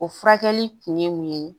O furakɛli kun ye mun ye